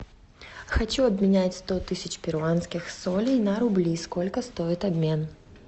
хочу обменять сто тысяч перуанских солей на рубли сколько стоит обмен